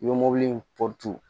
I bɛ mobili in